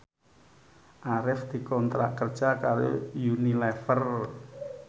Arif dikontrak kerja karo Unilever